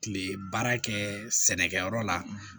Kile baara kɛ sɛnɛkɛyɔrɔ la